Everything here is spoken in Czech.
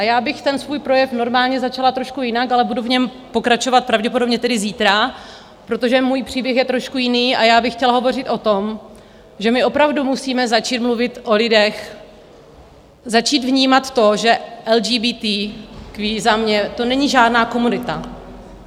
A já bych ten svůj projev normálně začala trošku jinak, ale budu v něm pokračovat pravděpodobně tedy zítra, protože můj příběh je trošku jiný, a já bych chtěla hovořit o tom, že my opravdu musíme začít mluvit o lidech, začít vnímat to, že LGBT - za mě to není žádná komunita.